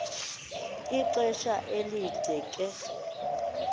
ixesha elide ke